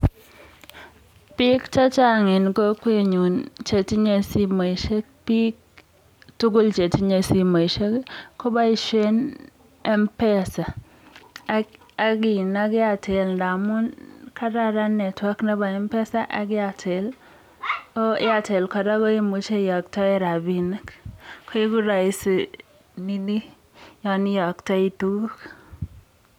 Biik chechang en kokwenyun chetinye simoishek biik tukul chetinye simoishekkoboishen mesa ak airtel amun kararan network nebo mpesa ak airtel, oo airtel kora imuche iyoktoen rabinikkoiku roisi ninii yoon iyoktoi tukuk.